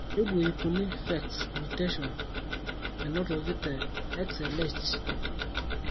karibu 300 PHEX mutations enotoki te XLH.